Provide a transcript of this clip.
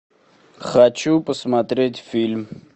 хочу посмотреть фильм